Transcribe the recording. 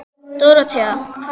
Dóróthea, hvernig er dagskráin?